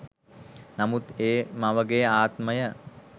නමුත් ඒ මවගේ ආත්මය